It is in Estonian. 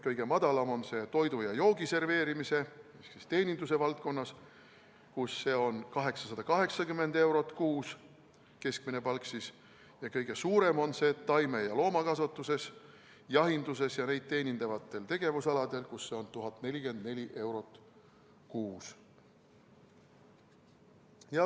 Kõige madalam on see toidu ja joogi serveerimises ehk teeninduse valdkonnas, kus keskmine palk on 880 eurot kuus, ja kõige suurem on see taime- ja loomakasvatuses, jahinduses ja neid teenindavatel tegevusaladel, kus see on 1044 eurot kuus.